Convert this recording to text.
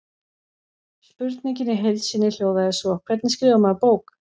Spurningin í heild sinni hljóðaði svo: Hvernig skrifar maður bók?